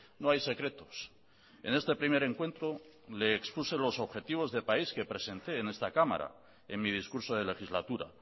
no hay secretos en este primer encuentro le expuse los objetivos de país que presenté en esta cámara en mi discurso de legislatura